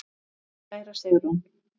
Kæra Sigrún.